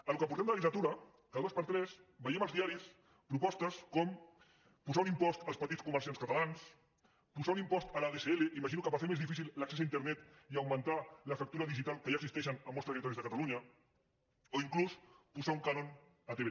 en el que portem de legislatura cada dos per tres veiem als diaris propostes com posar un impost als petits comerciants catalans posar un impost a l’adsl imagino que per fer més difícil l’accés a internet i augmentar la fractura digital que ja existeix en molts territoris de catalunya o inclús posar un cànon a tv3